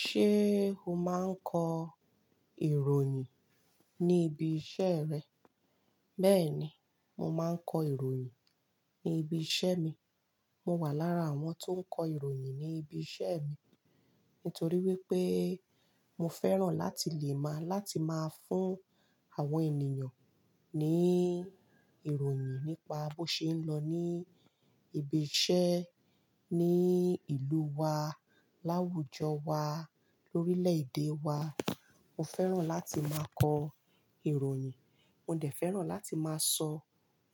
Ṣé o máa ń kọ ìròyìn ní ibi iṣẹ́ rẹ? Bẹ́ẹ̀ni, mo máa ń kọ ìròyìn ní ibi iṣẹ́ mi. Mo wà lára àwọn tó ń kọ ìròyìn ní ibi iṣẹ́ mi nítorí wípé mo fẹ́ràn láti lè maa láti máa fún àwọn ènìyàn ní ìròyìn nípa bó ṣe ń lọ ní ibi iṣẹ́ ní ìlú wa, láwùjọ wa, lórílẹ̀ èdè wa. Mo fẹ́ràn láti máa kọ ìròyìn. Mo dẹ̀ fẹ́ràn láti máa sọ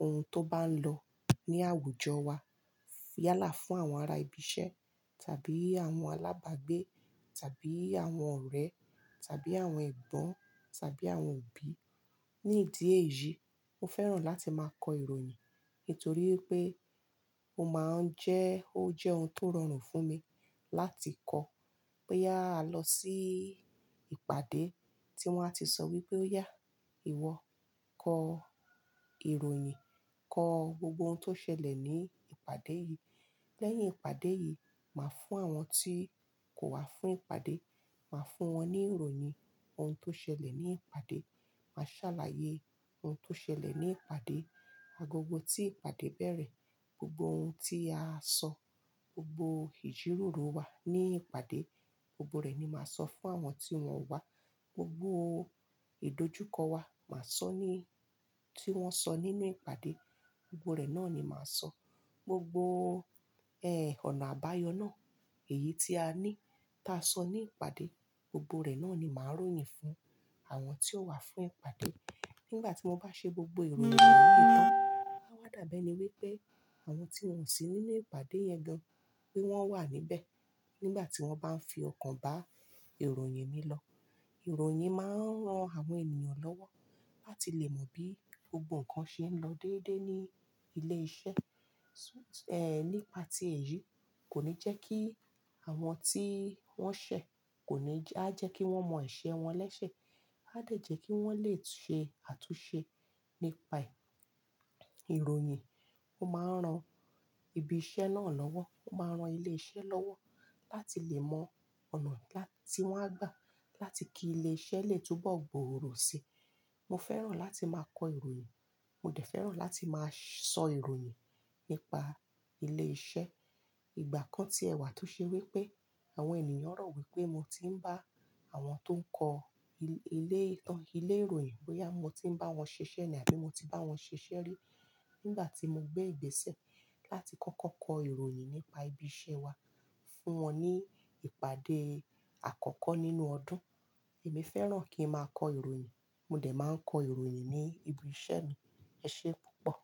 ohun tó bá ń lọ ní àwùjọ wa. Yálà fún àwọn ará ibi iṣẹ́ tàbí àwọn alábàgbé tàbí àwọn ọ̀rẹ́ tàbí àwọn ẹ̀gbọ́n tàbí àwọn òbí. Ní ìdí èyí, mo fẹ́ràn láti máa kọ ìròyìn nítorí wipé ó máa ń jẹ́, ó jẹ́ ohun tó rọrùn fún mi láti kọ boyà á lọ sí ìpàdé tí wọ́n á ti sọ wípé óyà, ìwọ kọ ìròyìn, kọ gbogbo ohun tó ṣẹlẹ̀ ní ìpàdé yìí. Lẹ́yìn ìpàdé yìí, màá fún àwọn tí kò wá fún ìpàdé, màá fún wọn ní ìròyìn ohun tó ṣẹlẹ̀ ní ìpàdé. Màá ṣàlàyé ohun tó ṣẹlẹ̀ ní ìpàdé. Agogo tí ìpàdé bẹ̀rẹ̀, gbogbo ohun tí a sọ, gbogbo ìjíròrò wa ní ìpàdé, gbogbo rẹ̀ ni màá sọ fún àwọn tí wọn o wá. Gbogbo ìdojúkọ wa màá sọ ní-- tí wọ́n sọ nínú ìpàdé, gbogbo rẹ̀ náà ni màá sọ. Gbogbo, ẹ, ọ̀nà àbáyọ náà, èyí tí a ní, tá sọ ní ìpàdé, gbogbo rẹ̀ náà ni màá ròyìn fún àwọn tí ó wá fún ìpàdé. Nígbà tí mo maá ṣe gbogbo ìròyìn wonyi tàn, á wá dàbẹ́ ni wípé àwọn tí wọn sì nínú ìpàdé yẹn gan pé wọ́n wà níbẹ̀ nígbà tí wọ́n bá ń fi ọkàn bá ìròyìn mi lọ. Ìròyìn máa ń ran àwọn ènìyàn lọ́wọ́ láti lè mọ bí gbogbo nnkan ṣe ń lọ dédé ní ilé iṣẹ́. Ehn, nípa tí èyí kò ní jẹ́ kí àwọn tí wọ́n ṣẹ̀ kò ní jẹ-- a jẹ́ kí wọ́n mọ ese wọn lẹ́sẹ̀, a dẹ̀ jẹ́ kí wọ́n lè ṣe àtúnṣe. Nípa ìròyìn, ó máa ń ran ibi iṣẹ́ náà lọ́wọ́. Ó máa ń ran ilé iṣẹ́ lọ́wọ́ láti lè mọ ọ̀nà tí wọ́n á gbà láti kí ilé iṣẹ́ lè túbọ̀ gbòòrò síi. Mo fẹ́ràn láti máa kọ ìròyìn. Mo dẹ̀ fẹ́ràn láti máa sọ ìròyìn nípa ilé iṣẹ́. Ìgbà kan tiẹ̀ wà tó ṣe wípé àwọn ènìyàn rò wípé mo ti ń bá àwọn tó ń kọ ilé ìtàn-- ilé ìròyìn pé yà mo ti ń bá wọn ṣiṣẹ́ ni àbí mo ti bá wọn ṣiṣẹ́ rí nígbà tí mo gbé ìgbésẹ̀ láti kọ́kọ́ kọ ìròyìn nípa ibi iṣẹ́ wa fún wọn ní ìpàdé àkọ́kọ́ nínú ọdún. Èmi fẹ́ràn kí n máa kọ ìròyìn. Mo dẹ̀ máa ń kọ ìròyìn ní ibi iṣẹ́ mi. Ṣé púpọ̀.